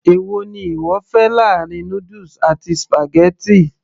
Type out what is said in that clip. èwo ni ìwọ fẹ́ láàrin noodles àti spaghetti